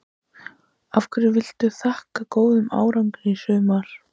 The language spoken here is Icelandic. Hverju viltu þakka góðan árangur í sumar?